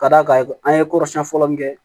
Ka d'a kan an ye kɔrɔsiyɛn fɔlɔ min kɛ